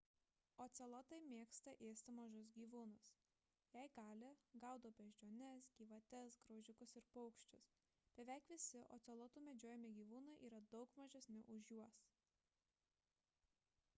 ocelotai mėgsta ėsti mažus gyvūnus jei gali gaudo beždžiones gyvates graužikus ir paukščius beveik visi ocelotų medžiojami gyvūnai yra daug mažesni už juos